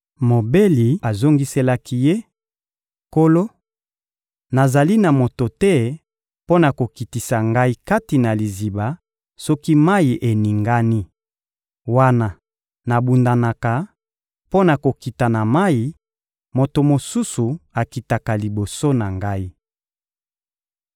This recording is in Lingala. Mobeli azongiselaki Ye: — Nkolo, nazali na moto te mpo na kokitisa ngai kati na liziba soki mayi eningani. Wana nabundanaka mpo na kokita na mayi, moto mosusu akitaka liboso na ngai.